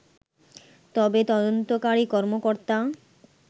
তবে তদন্তকারী কর্মকর্তা